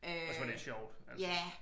Også var lidt sjovt altså